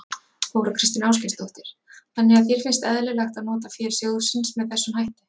Þóra Kristín Ásgeirsdóttir: Þannig að þér finnst eðlilegt að nota fé sjóðsins með þessum hætti?